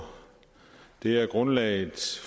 det er grundlaget